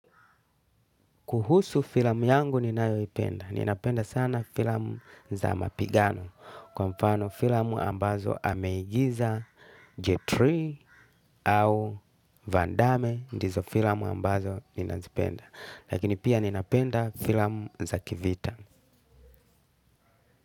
Kuhusu filamu yangu ninayoipenda. Ninapenda sana filamu za mapigano. Kwa mfano filamu ambazo ameigiza jetri au vandame ndizo filamu ambazo ninazipenda. Lakini pia ninapenda filamu za kivita.